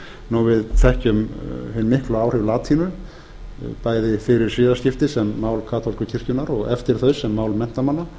við þekkjum hin miklu áhrif latínu bæði fyrir siðaskipti sem mál kaþólsku kirkjunnar og eftir þau sem mál menntamanna